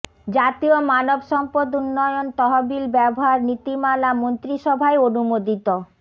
জাতীয় মানব সম্পদ উন্নয়ন তহবিল ব্যবহার নীতিমালা মন্ত্রিসভায় অনুমোদিত